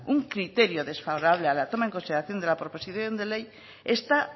un criterio desfavorable a la toma en consideración de la proposición de ley está